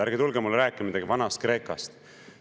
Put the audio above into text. Ärge tulge mulle rääkima midagi Vana-Kreekast.